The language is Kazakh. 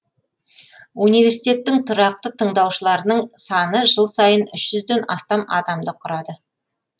университеттің тұрақты тыңдаушыларының саны жыл сайын үш жүзден астам адамды құрады